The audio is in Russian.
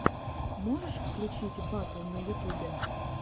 можешь включить батл на ютубе